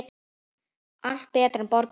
Allt betra en borgin.